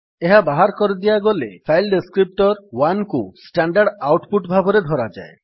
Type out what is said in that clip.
ଏହା ବାହାର କରିଦିଆଗଲେ ଫାଇଲ୍ ଡେସ୍କ୍ରିପ୍ଟର୍ 1କୁ ଷ୍ଟାଣ୍ଡାର୍ଡ୍ ଆଉଟ୍ ପୁଟ୍ ଭାବରେ ଧରାଯାଏ